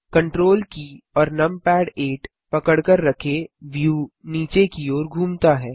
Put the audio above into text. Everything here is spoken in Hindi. Ctrl की और नमपैड 8 पकड़कर रखें व्यू नीचे की ओर घूमता है